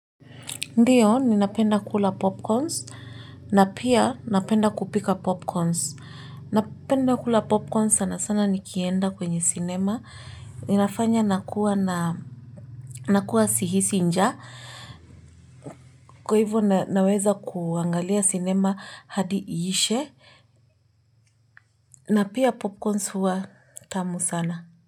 Ndio ni napenda kula popcorns na pia napenda kupika popcorns. Napenda kula popcorns sana sana nikienda kwenye cinema. Inafanya nakuwa na nakuwa na nakuwa sihisi njaa. Kwa hivyo naweza kuangalia cinema hadi iishe. Na pia popcorns huwa tamu sana.